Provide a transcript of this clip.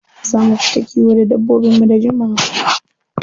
Za mu fita kiwo da dabbobinmu da jimawa.